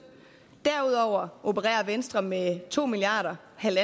derudover opererer venstre med to milliard kr